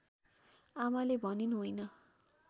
आमाले भनिन् होइन